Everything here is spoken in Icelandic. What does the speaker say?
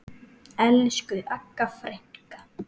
Elsku Agga frænka.